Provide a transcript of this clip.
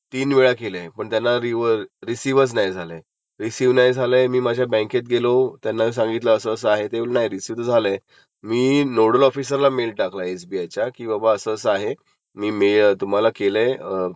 पण रिसिव्ह तुम्हाला नाही झालंय तरं त्याच्यात माझा काही फॉल्ट नाहीये, तर ते बोलले की नाय आम्हाला रिसिव्ह झालं आणि ते आम्ही तुम्हाला रिफंड केलं. बोललो रिफंड केलं तर मला ट्रॅन्सॅक्शन नंबर द्या, पण ते काय देत नाहीयेत, पण तो मेल माझ्यासाठी पुरेसा आहे जर मला कुठे सिबिलचा इश्यु आला तर